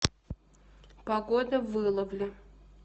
погода в иловле